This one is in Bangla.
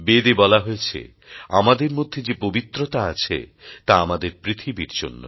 বেদ এ বলা হয়েছে আমাদের মধ্যে যে পবিত্রতা আছে তা আমাদের পৃথিবীর জন্য